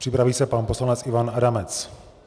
Připraví se pan poslanec Ivan Adamec.